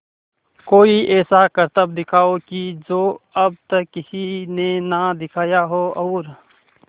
कोई ऐसा करतब दिखाओ कि जो अब तक किसी ने ना दिखाया हो और